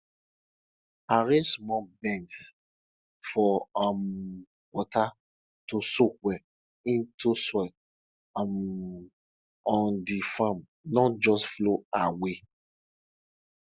arrange small bends for um water to soak well into soil um on the farm not just flow away